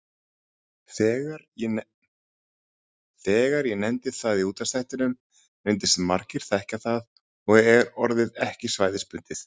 Þegar ég nefndi það í útvarpsþættinum reyndust margir þekkja það og er orðið ekki svæðisbundið.